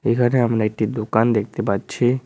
এখানে আমরা একটি দোকান দেখতে পাচ্ছি।